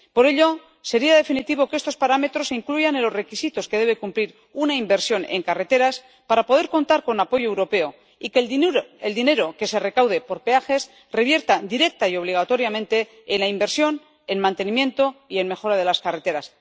Para ello sería definitivo que estos parámetros se incluyan en los requisitos que debe cumplir una inversión en carreteras para poder contar con apoyo europeo y que el dinero que se recaude por peajes revierta directa y obligatoriamente en la inversión en mantenimiento y en mejora de las carreteras.